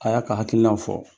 A y'a ka hakilinaw fɔ